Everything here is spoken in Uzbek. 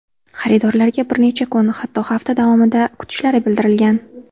Xaridorlarga bir necha kun, hatto hafta davomida kutishlari bildirilgan.